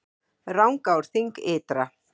Rangárþing ytra